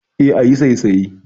E, ayi saisaye.